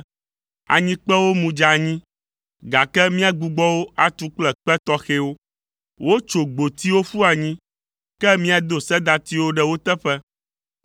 “Anyikpewo mu dze anyi, gake míagbugbɔ wo atu kple kpe tɔxɛwo; wotso gbotiwo ƒu anyi, ke míado sedatiwo ɖe wo teƒe”,